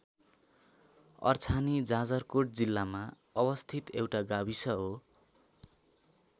अर्छानी जाजरकोट जिल्लामा अवस्थित एउटा गाविस हो।